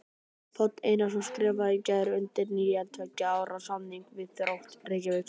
Páll Einarsson skrifaði í gær undir nýjan tveggja ára samning við Þrótt Reykjavík.